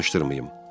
Danışdırmayım.